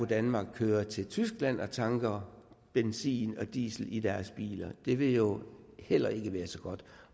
danmark kører til tyskland og tanker benzin og diesel på deres biler det vil jo heller ikke være så godt